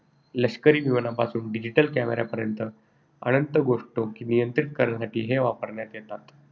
लष्करी विमानांपासून digital camera पर्यंत अनंत गोष्टो नियंत्रित करण्यासाठी ते वापरण्यात येतात.